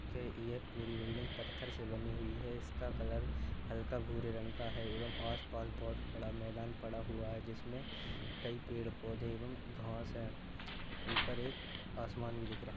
के यह एक पूरी बिल्डिंग पत्थर से बनी हुई है। इसका कलर हल्का भूरे रंग का है एवं आसपास बोहोत बड़ा मैदान पड़ा हुआ है जिसमें कई पेड़ पौधे एवं घास हैं। ऊपर एक आसमान भी दिख रहा --